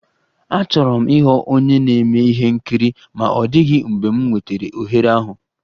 Achọrọ m ịghọ onye na-eme ihe nkiri ma ọ dịghị mgbe m nwetara ohere ahụ